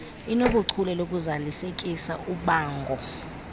inobuchule bokuzalisekisa ubango